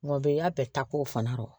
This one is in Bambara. Ngɔbɔnin y'a bɛɛ ta k'o fana dɔn